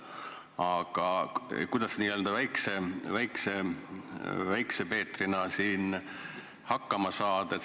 Aga kuidas siin n-ö Väikese Peetrina hakkama saada?